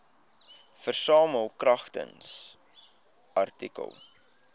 versamel kragtens artikel